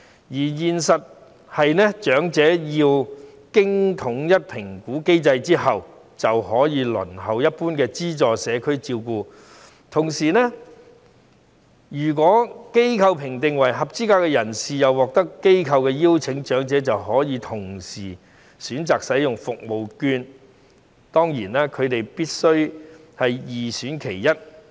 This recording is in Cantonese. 現實的情況是，長者要經過統一評估機制後，便可以輪候一般資助社區照顧服務；同時，如果被機構評定為合資格的人士並獲得機構邀請，長者就可以同時選擇使用社區券。